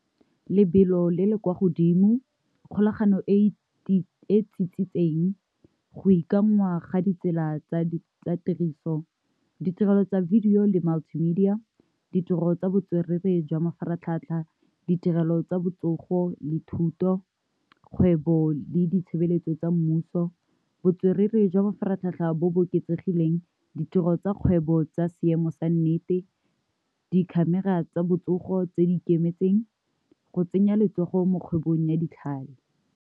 Lebelo le le kwa godimo, kgolagano e tsitsitseng go ga ditsela tsa tiriso ditirelo tsa video le multimedia, ditiro tsa botswerere jwa mafaratlhatlha, ditirelo tsa botsogo le thuto, kgwebo le ditshebeletso tsa mmuso, botswerere jwa mafaratlhatlha bo bo oketsegileng, ditiro tsa kgwebo tsa seemo sa nnete, di-camera di tsa botsogo tse di ikemetseng, go tsenya letsogo mo kgwebong ya ditlhale.